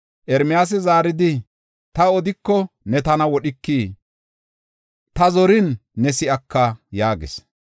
Ermiyaasi zaaridi, “Ta odiko, ne tana wodhikii? Ta zorin ne si7aka” yaagis.